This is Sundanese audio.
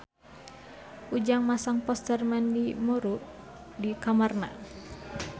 Ujang masang poster Mandy Moore di kamarna